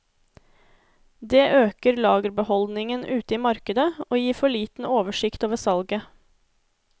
Det øker lagerbeholdningen ute i markedet og gir for liten oversikt over salget.